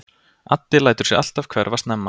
Addi lætur sig alltaf hverfa snemma.